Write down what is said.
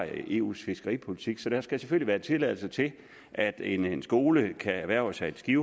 eus fiskeripolitik så der skal selvfølgelig gives tilladelse til at en skole kan erhverve sig et skib